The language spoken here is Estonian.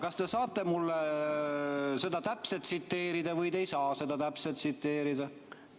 Kas te saate mulle seda täpselt tsiteerida või te ei saa seda täpselt tsiteerida?